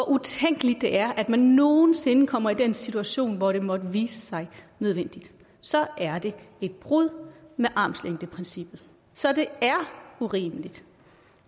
utænkeligt det er at man nogen sinde kommer i den situation hvor det måtte vise sig nødvendigt så er det et brud med armslængdeprincippet så det er urimeligt